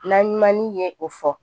Na ɲuman ye o fɔ